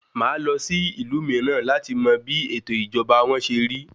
Màá lọ sí ìlú mìíràn láti mọ bí ètò ìṣèjọba wọ́n ṣe rí.